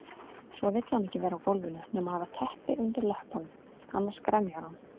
Svo vill hann ekki vera á gólfinu nema hafa teppi undir löppunum, annars grenjar hann.